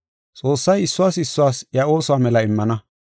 Xoossay issuwas issuwas iya oosuwa mela immana.